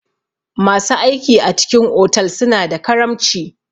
Masu aiki a cikin otal suna da karamci.